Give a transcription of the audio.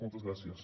moltes gràcies